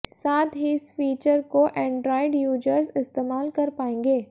साथ ही इस फीचर को एंड्रॉयड यूजर्स इस्तेमाल कर पाएंगे